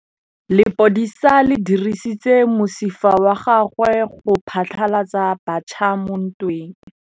Lepodisa le dirisitse mosifa wa gagwe go phatlalatsa batšha mo ntweng.